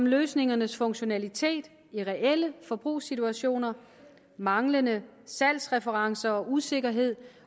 løsningernes funktionalitet i reelle forbrugssituationer manglende salgsreferencer og usikkerhed